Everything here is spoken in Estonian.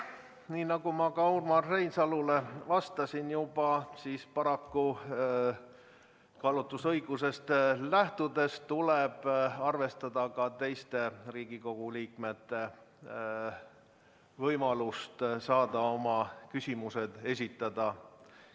Nii nagu ma Urmas Reinsalule juba vastasin, tuleb kaalutlusõigusest lähtudes paraku arvestada ka teiste Riigikogu liikmete võimalust saada oma küsimused esitada.